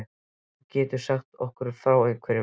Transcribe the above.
Getur þú sagt okkur frá einhverjum?